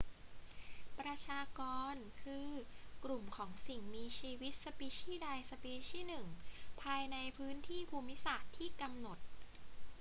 ประชากร คือกลุ่มของสิ่งมีชีวิตสปีชี่ใดสปีชี่หนึ่งภายในพื้นที่ภูมิศาสตร์ที่กำหนด